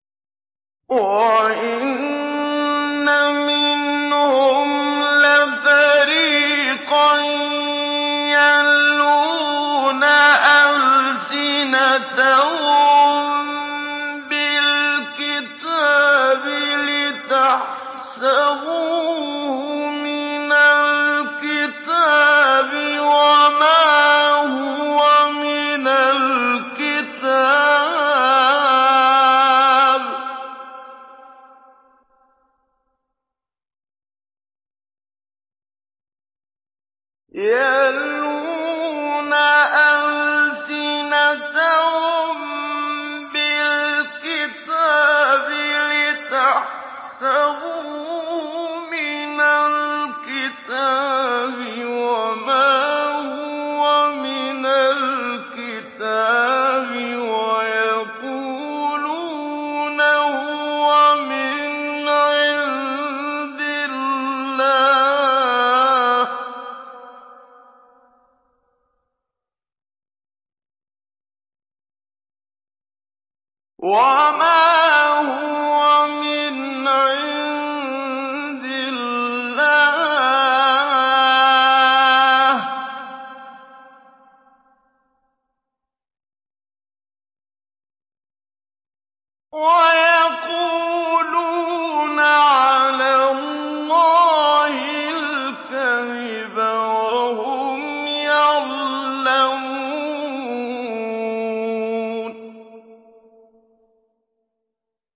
وَإِنَّ مِنْهُمْ لَفَرِيقًا يَلْوُونَ أَلْسِنَتَهُم بِالْكِتَابِ لِتَحْسَبُوهُ مِنَ الْكِتَابِ وَمَا هُوَ مِنَ الْكِتَابِ وَيَقُولُونَ هُوَ مِنْ عِندِ اللَّهِ وَمَا هُوَ مِنْ عِندِ اللَّهِ وَيَقُولُونَ عَلَى اللَّهِ الْكَذِبَ وَهُمْ يَعْلَمُونَ